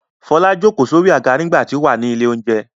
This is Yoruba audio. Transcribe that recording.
Fọlá ìjókòó sórí àga nígbà tí ó wà ní ilé-oúnjẹ.